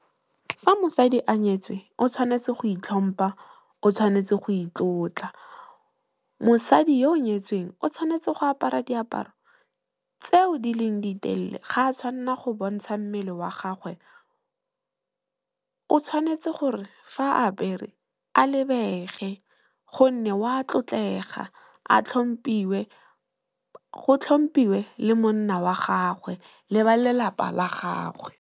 Fa mosadi a nyetswe o tshwanetse go itlhompa, o tshwanetse go itlotla. Mosadi yo o nyetsweng o tshwanetse go apara diaparo tseo di leng ditelele, ga a tshwanela go bontsha mmele wa gagwe. O tshwanetse gore fa apere a lebege gonne, wa tlotlega a tlhompiwe, go tlhompiwe le monna wa gagwe le ba lelapa la gagwe.